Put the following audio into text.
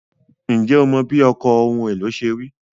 Ǹjẹ́ o mọ bí ọkọ̀ ohun èlò ṣe rí?